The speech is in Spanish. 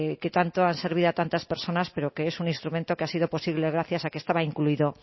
que tanto han servido a tantas personas pero que es un instrumento que ha sido posible gracias a que estaba incluido